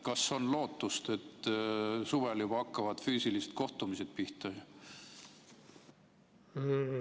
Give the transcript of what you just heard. Kas on lootust, et juba suvel hakkavad füüsilised kohtumised pihta?